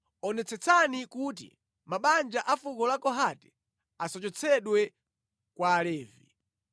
“Onetsetsani kuti mabanja a fuko la Kohati asachotsedwe kwa Alevi.